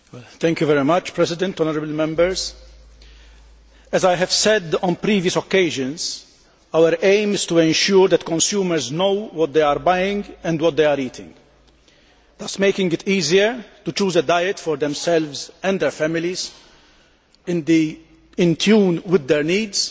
Madam President, as I have said on previous occasions, our aim is to ensure that consumers know what they are buying and what they are eating, thus making it easier to choose a diet for themselves and their families in tune with their needs,